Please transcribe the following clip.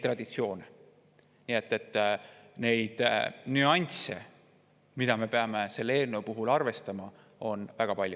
Nii et neid nüansse, mida me peame selle eelnõu puhul arvestama, on väga palju.